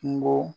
Kungo